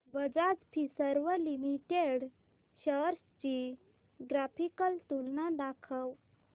Bajaj Finserv limited shares ची graphical तुलना दाखव